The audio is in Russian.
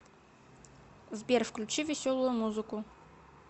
сбер включи веселую музыку